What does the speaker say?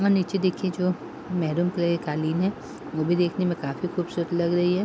और नीचे देखिये जो मैरून कलर की कालीन है वो भी देखने में काफी खूबसूरत लग रही है।